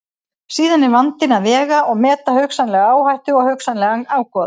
Síðan er vandinn að vega og meta hugsanlega áhættu og hugsanlegan ágóða.